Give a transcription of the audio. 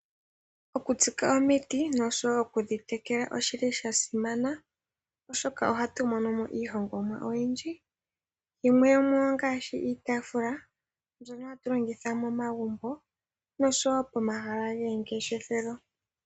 Okutsika omiti noshowo okudhi tekela oshili shasimana oshoka ohatu mono mo iihongomwa oyindji , yimwe yomuyo ongaashi iitaafula mbyono hatu longitha momagumbo noshowo pomahala gomangeshefelo.